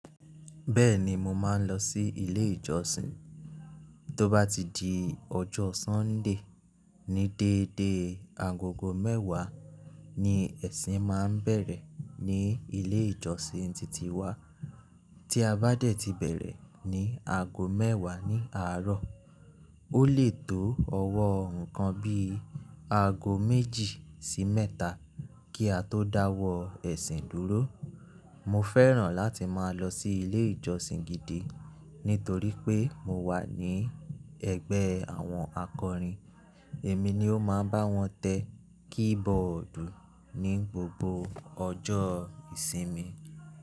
Bẹ́ẹ̀ni, mo máa ń lọ sí ilé ìjọsìn. Tóbá ti di ọjọ́ Sunday, ní dédé aagogo mẹ́wàá ni ẹ̀sìn máa ń bẹ̀rẹ̀ ní ilé ìjọsìn titi wa. Tí a bá dẹ̀ ti bẹ̀rẹ̀ ní aago mẹ́wàá ní àárọ̀, ó lè tó ọwọ́ nǹkan bí i aago méjì sí mẹ́ta kí a tó dáwọ́ ẹ̀sìn dúró. Mo fẹ́ràn láti máa lọ sí ilé ìjọsìn gidi nítorí pé mo wà ní ẹgbẹ́ àwọn akọrin, èmi ni ó máa ń bá wọn tẹ keyboard ní gbogbo ọjọ́ ìsinmi.